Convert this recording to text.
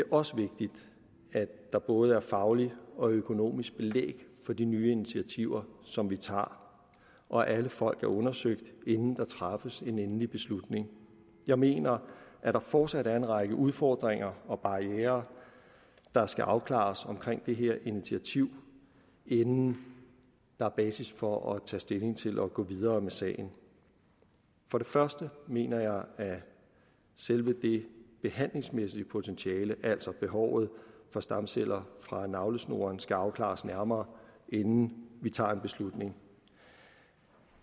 også vigtigt at der både er fagligt og økonomisk belæg for de nye initiativer som vi tager og at alle folk er undersøgt inden der træffes en endelig beslutning jeg mener at der fortsat er en række udfordringer og barrierer der skal afklares omkring det her initiativ inden der er basis for at tage stilling til at gå videre med sagen for det første mener jeg at selve det behandlingsmæssige potentiale altså behovet for stamceller fra navlesnoren skal afklares nærmere inden vi tager en beslutning